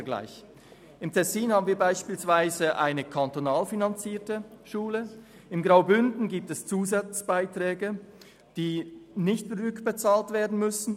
Im Tessin haben wir beispielsweise eine kantonal finanzierte Schule, und im Bündnerland gibt es Zusatzbeiträge, die nicht zurückbezahlt werden müssen.